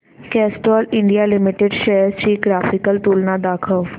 Castrol India limited shares ची graphical तुलना दाखव